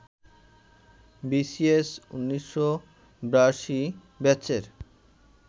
BCS ১৯৮২ ব্যাচের